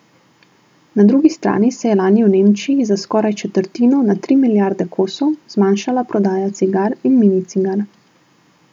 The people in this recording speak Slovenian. Na drugi strani se je lani v Nemčiji za skoraj četrtino, na tri milijarde kosov, zmanjšala prodaja cigar in mini cigar.